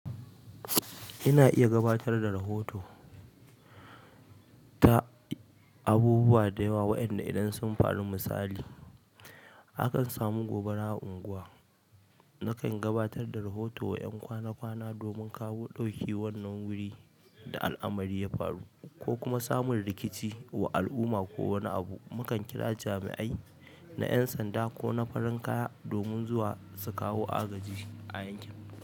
Ina iya gabatar da rahoto ta abubuwa da yawa, waƴan da idan sun faru misali, akan samu gobara a unguwa. Nakan gabatar da rahoto wa ƴan kwana-kwana domin kawo ɗauki wannan wuri da al'amari ya faru ko kuma samun rikici wa al'umma ko wani abu. Mukan kira jami'ai na ƴan sanda ko na farin kaya domin zuwa su kawo agaji a yankin.